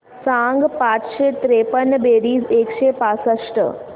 सांग पाचशे त्रेपन्न बेरीज एकशे पासष्ट